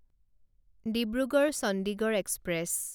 Dibrugarh Chandigarh express